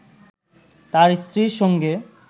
তার স্ত্রীর সঙ্গে